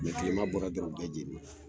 Kilema bɔra dɔrɔn u bɛɛ jenina.